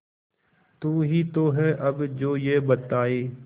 तू ही तो है अब जो ये बताए